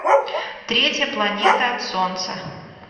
третья планета от солнца